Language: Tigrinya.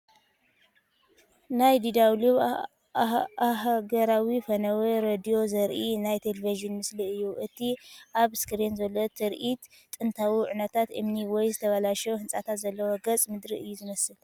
ናይ DW ኣህጉራዊ ፈነወ ሬድዮ ዜርኢ ናይ ተሌቪዥን ምስሊ እዩ ።እቲ ኣብ ስክሪን ዘሎ ትርኢት ጥንታዊ ዑናታት እምኒ ወይ ዝተባላሸወ ህንጻታት ዘለዎ ገጸ-ምድሪ እዩ ዝመስል።